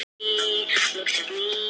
Herinn hefur girt af hverfið.